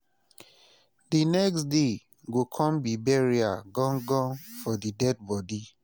di next day go kon be burial gan gan for di deadbodi